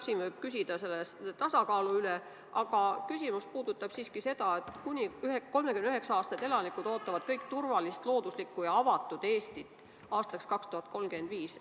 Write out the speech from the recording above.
Siin võiks küsida tasakaalu kohta, aga mu küsimus puudutab hoopis seda, et kuni 39-aastased elanikud ootavad üldiselt turvalist, looduslikku ja avatud Eestit aastaks 2035.